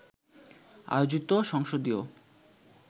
আয়োজিত সংসদীয়